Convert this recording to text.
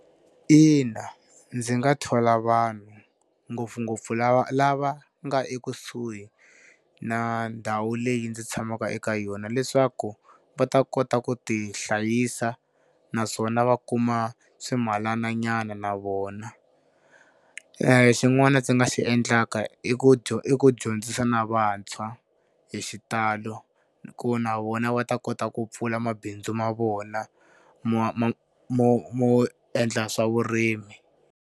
Ina ndzi nga thola vanhu ngopfungopfu lava lava nga ekusuhi na ndhawu leyi ndzi tshamaka eka yona, leswaku va ta kota ku tihlayisa naswona va kuma swimalananyana na vona. Xin'wana ndzi nga xi endlaka i ku i ku dyondzisa na vantshwa hi xitalo ku na vona va ta kota ku pfula mabindzu ma vona mo mo endla swa vurimi.